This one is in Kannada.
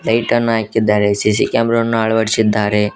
ಟೈಟನ್ನು ಹಾಕಿದ್ದಾರೆ ಸಿ_ಸಿ ಕ್ಯಾಮೆರ ವನ್ನು ಅಳವಡಿಸಿದ್ದಾರೆ.